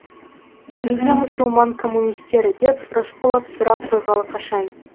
неге мұсылман коммунистері деп рысқұлов сұрақ қойғалы қашан